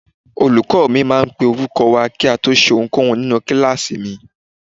Olùkọ́ mi máa ń pe orúkọ wa kí a tó ṣe ohunkóhun nínú kíláàsì mi.